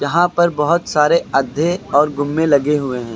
यहां पर बहोत सारे आधे और घूमे लगे हुए है।